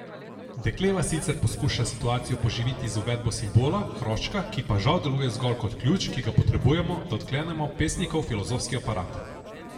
Dekleva sicer poskuša situacijo poživiti z uvedbo simbola, hroščka, ki pa žal deluje zgolj kot ključ, ki ga potrebujemo, da odklenemo pesnikov filozofski aparat.